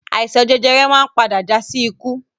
Àìsàn jẹjẹrẹ máa ń padà já sí ikú